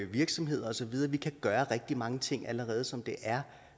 virksomheder og så videre vi kan gøre rigtig mange ting allerede som det er